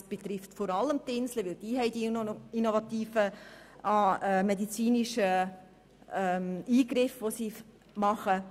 Dies betrifft vor allem das Inselspital, denn dort werden innovative medizinische Eingriffe vorgenommen.